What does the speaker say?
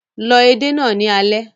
Lọ edé náà ní alẹ́